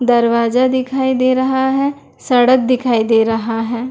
दरवाज़ा दिखाई दे रहा है सड़क दिखाई दे रहा है।